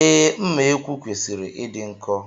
Ee, mma ekwu kwesịrị ịdị nkọ